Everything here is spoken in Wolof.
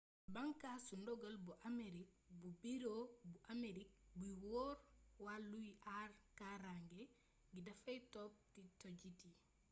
bàankaasu ndogal bu amerig bu biro bu amerig buy yor wàllu aar karaange gi dafay top tojjit yi